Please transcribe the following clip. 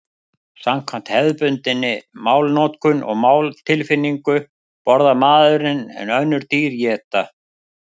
Samkvæmt hefðbundinni málnotkun og máltilfinningu borðar maðurinn en önnur dýr éta.